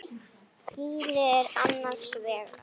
Gínu er annars vegar.